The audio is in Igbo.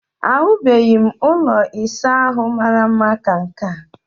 Ahụbeghị m ụlọ ịsa ahụ mara mma ka nke a